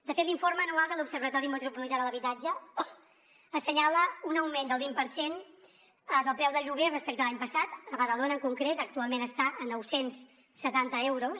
de fet l’informe anual de l’observatori metropolità de l’habitatge assenyala un augment del vint per cent del preu del lloguer respecte a l’any passat a badalona en concret actualment està a nou cents i setanta euros